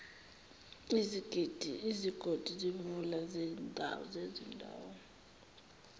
izigodi zemvula zezindawo